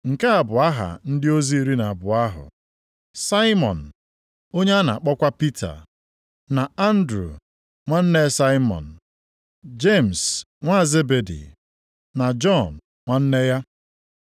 Nke a bụ aha ndị ozi iri na abụọ ahụ: Saimọn (onye a na-akpọkwa Pita) na Andru nwanne Saimọn; Jemis nwa Zebedi, na Jọn nwanne ya.